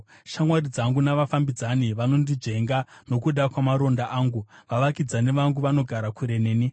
Shamwari dzangu navafambidzani vondinzvenga nokuda kwamaronda angu; vavakidzani vangu vanogara kure neni.